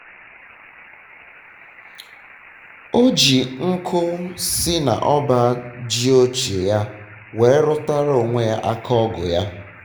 o ji nkụ si na ọba ji ochie ya were rụtara onwe ya aka ọgụ ya